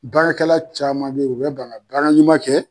Baarakɛla caaman be yen u be ban ka baara ɲuman kɛ